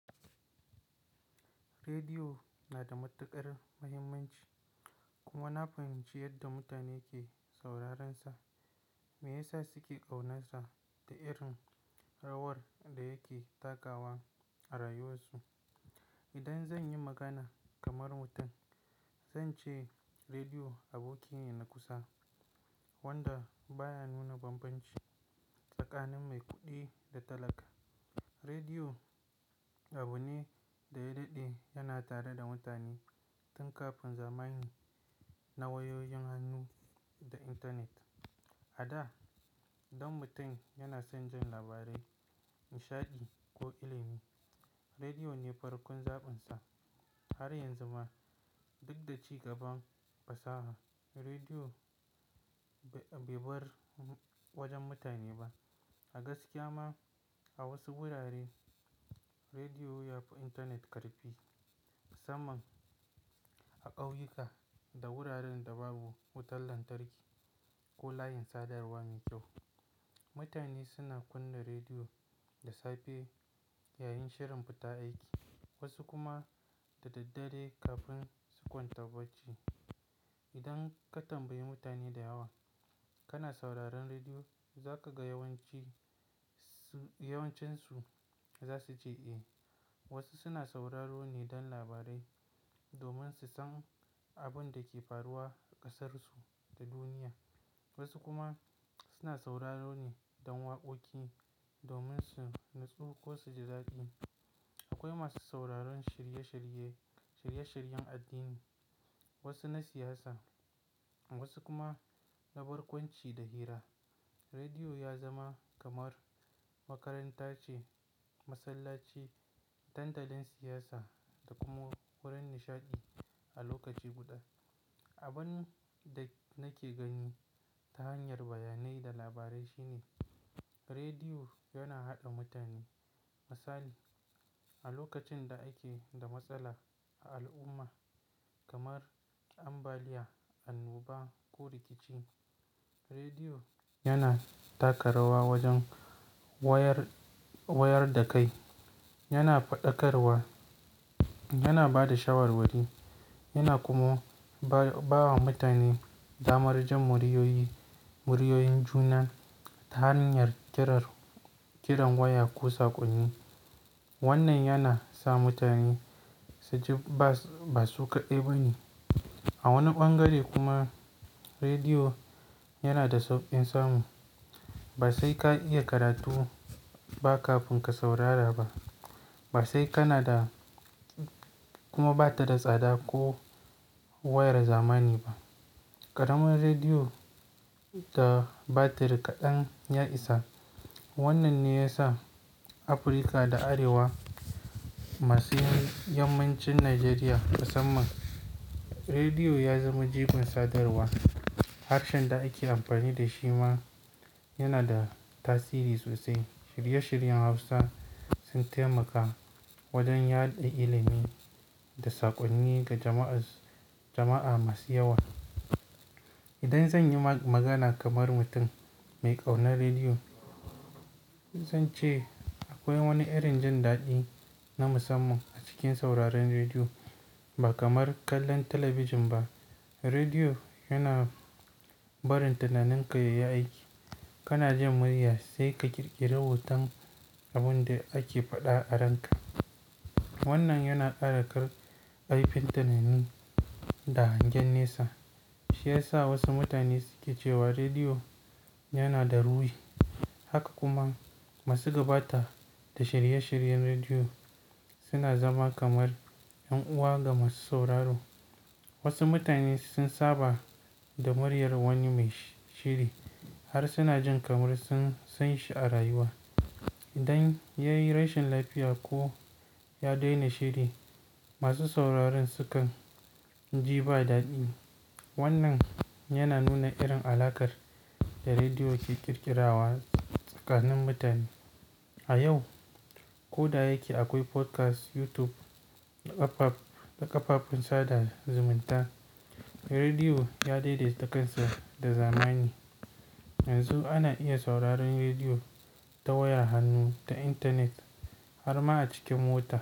Rediyo na da matuƙar muhimmanci kuma na fahimci yadda mutane ke saurarensa, me yasa suke ƙaunansa da irin rawar da yake takawa a rayuwarsu. Idan zan yi magana kamar mutum, zan ce rediyo aboki ne na kusa wanda baya nuna bambanci, tsakanin mai kuɗi da talaka. Rediyo abune da ya daɗe yana tare da mutane tun kafin zamanin na wayoyin hannu da intanet. A da, idan mutum yana son jin labarai, nishaɗi ko ilimi, rediyo ne farkon zaɓinsa. Har yanzu ma duk da ci gaban fasaha, rediyo bai bar wajen mutane ba. A gaskiya ma a wasu wurare rediyo ya fi intanet ƙarfi. Saman a ƙauyuka da wuraren da babu wutar lantarki ko layin sadarwa mai kyau. Mutane suna kunna rediyo da safe yayin shirin fita aiki, wasu kuma da daddare kafin su kwanta bacci. Idan ka tambayi mutane da yawa kana sauraron rediyo? Za ka ga yawancinsu za su ce eh. Wasu suna sauraro ne don labarai domin su san abin da ke faruwa ƙasarsu da duniya. Wasu kuma suna sauraro ne don waƙoƙi domin su natsu ko su ji daɗi. Akwai masu sauraron shirye-shiryen addini, wasu na siyasa wasu kuma na barkwanci da hira. Rediyo ya zama kamar makaranta ce, masallaci, dandalin siyasa da kuma wurin nishaɗi a lokaci guda. Abin da nake gani ta hanyar bayanai da labarai shine rediyo yana haɗa mutane. Misali, a lokacin da ake da matsala a al'umma kamar ambaliya, annoba ko rikici, rediyo yana taka rawa wajen wayar da kai. Yana faɗakarwa, yana ba da shawarwari yana kuma bawa mutane damar jin muryoyin juna ta hanyar kiran waya ko saƙonni. Wannan yana sa mutane su ji ba su kaɗai ba ne. A wani bangare kuma rediyo yana da sauƙin samu. Ba sai ka iya karatu ba kafin ka saurara ba. Kana da kuma bata da tsada ko wayar zamani ba. Karamar rediyo da batir kaɗan ya isa. Wannan ne ya sa Afirka da Arewa masu yammancin Najeriya, musamman rediyo ya zama jigon sadarwa. Harshen da ake amfani da shi ma yana da tasiri sosai. Shirye-shiryen Hausa sun taimaka wajen yaɗa ilimi da saƙonni ga jama'a masu yawa. Idan zan yi magana kamar mutum mai ƙaunar rediyo, zan ce akwai wani irin jin daɗi na musamman a cikin sauraron rediyo. Ba kamar kallon talabijin ba. Rediyo yana barin tunaninka ya yi aiki. Kana jin murya sai ka ƙirƙiri hoton abin da ake faɗa a ranka. Wannan yana ƙara kaifin tunani da hangen nesa. Shi ya sa wasu mutane suke cewa rediyo yana da ruwi. Haka kuma masu gabatar da shirye-shiryen rediyo suna zama kamar ƴan uwa ga masu sauraro. Wasu mutane sun saba da muryar wani mai shiri har suna jin kamar sun san shi a rayuwa. Idan ya yi rashin lafiya ko ya daina shiri, masu sauraron sukan ji ba daɗi. Wannan yana nuna irin alaƙar da rediyo ke ƙirƙirawa tsakanin mutane. A yau, ko da yake akwai podcast, YouTube da ƙafafen sada zumunta, rediyo ya daidaita kansa da zamani. Yanzu ana iya sauraron rediyo ta waya hannu, ta intanet har ma a cikin mota.